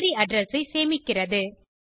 memory address ஐ சேமிக்கிறது